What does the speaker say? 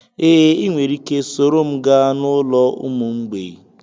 Ee, ị nwere ike soro m gaa n'ụlọ ụmụ mgbei